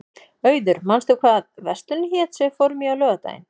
Auður, manstu hvað verslunin hét sem við fórum í á laugardaginn?